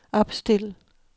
opstil